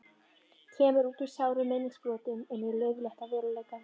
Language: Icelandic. Kemur út úr sárum minningabrotum inn í laufléttan veruleikann.